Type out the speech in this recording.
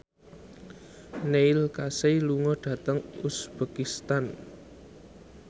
Neil Casey lunga dhateng uzbekistan